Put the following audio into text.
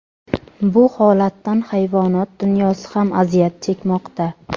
Bu holatdan hayvonot dunyosi ham aziyat chekmoqda.